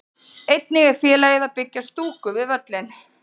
Einnig er félagið að byggja stúku við völlinn.